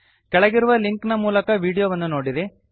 ಕೆಳಗಿರುವ ಲಿಂಕ್ ನ ಮೂಲಕ ವಿಡಿಯೋವನ್ನು ನೋಡಿರಿ